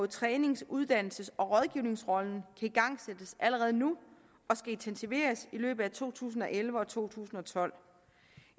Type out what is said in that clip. trænings uddannelses og rådgivningsrollen igangsættes allerede nu og skal intensiveres i løbet af to tusind og elleve og to tusind og tolv